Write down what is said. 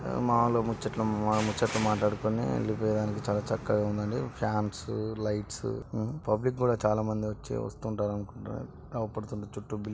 మాలో ముచ్చట్లు మా ముచ్చట్లు మాట్లాడుకొని వెళ్ళిపోయానికి చాలా చక్కగా ఉండింది ఫ్యాన్ స్ ఉ లైట్ స్ ఉ పబ్లిక్ కూడా చాలామంది వచ్చి వస్తుంటారు అనుకుంటా అవపడ్తున్నచుట్టూ బిల్డింగ్